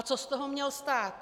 A co z toho měl stát?